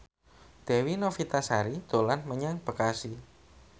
Dewi Novitasari dolan menyang Bekasi